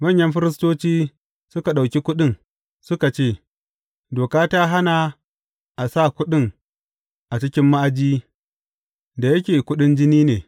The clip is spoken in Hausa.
Manyan firistoci suka ɗauki kuɗin, suka ce, Doka ta hana a sa kuɗin a cikin ma’aji, da yake kuɗin jini ne.